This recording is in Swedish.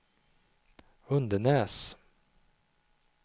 Undenäs